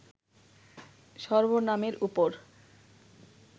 সর্বনামের উপর